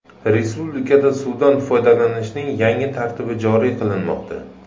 Respublikada suvdan foydalanishning yangi tartibi joriy qilinmoqda.